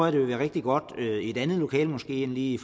at det vil være rigtig godt i et andet lokale end måske lige i